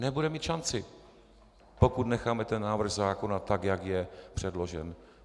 Nebude mít šanci, pokud necháme ten návrh zákona tak, jak je předložen.